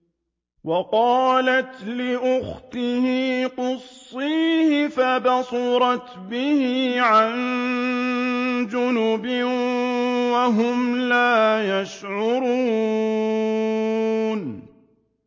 وَقَالَتْ لِأُخْتِهِ قُصِّيهِ ۖ فَبَصُرَتْ بِهِ عَن جُنُبٍ وَهُمْ لَا يَشْعُرُونَ